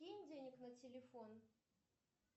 кинь денег на телефон